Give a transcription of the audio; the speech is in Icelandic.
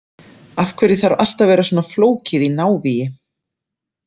Af hverju þarf allt að vera svona flókið í návígi?